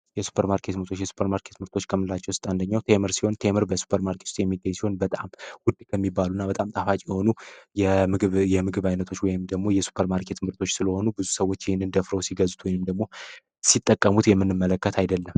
የሱፐር ማርኬት ምርጦች የሱፐር ማርኬት ምርጦች ከምላቸው ውስጥ አንደኛው ቴምር ሲሆን፤ ቴምር በሱፐር ማርኬት ውስጥ የሚገኝ ሲሆን፤ በጣም ውድ ከሚባሉ እና በጣም ጣፋጭ የሆኑ የምግብ ዓይነቶች ወይ ደግሞ የስፐር ማርኬት ምርቶች ስለሆኑ ብዙ ሰዎች ይህን እደፍረው ሲገዙት ወይም ደግሞ ሲጠቀሙት የምንመለከት አይደለም።